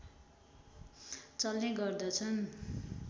चल्ने गर्दछन्